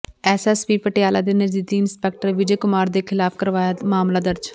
SSP Patiala ਦੇ ਨਜ਼ਦੀਕੀ inspector Vijay Kumar ਦੇ ਖਿਲਾਫ ਕਰਵਾਇਆ ਮਾਮਲਾ ਦਰਜ਼